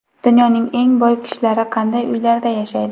Dunyoning eng boy kishilari qanday uylarda yashaydi?